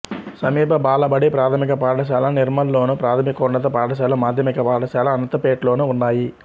సమీప బాలబడి ప్రాథమిక పాఠశాల నిర్మల్లోను ప్రాథమికోన్నత పాఠశాల మాధ్యమిక పాఠశాల అనంతపేట్లోనూ ఉన్నాయి